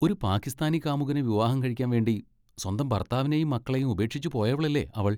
ഒരു പാകിസ്ഥാനി കാമുകനെ വിവാഹം കഴിക്കാൻ വേണ്ടി സ്വന്തം ഭർത്താവിനെയും മക്കളെയും ഉപേക്ഷിച്ച് പോയവളല്ലേ അവൾ!